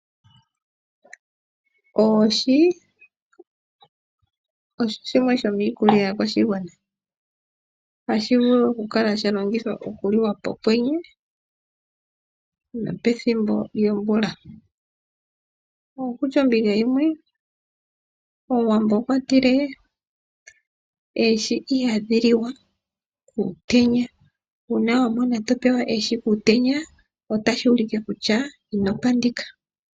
Oohi osho shimwe shomiikulya yaakwashigwana, ohashi vulu okukala sha longithwa okuliwa pokwenye nopethimbo lyomvula. Okutya ombinga yimwe Omuwamo okwa tile oohi ihadhi liwa kuutenya, uuna wa mona to pewa oohi kuutenya otashi ulike kutya ino pandika.